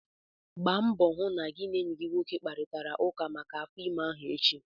Gbaa mbọ hụ na gị na enyi gị nwoke kparịtara ụka maka afọ ime ahụ echi!